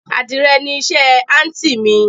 Adìrẹ ni iṣẹ́ àntí mi